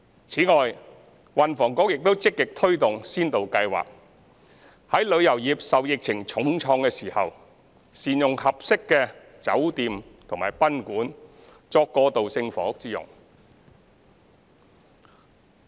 此外，運輸及房屋局亦積極推動先導計劃，在旅遊業受疫情重創的時候，善用合適的酒店和賓館單位作過渡性房屋之用。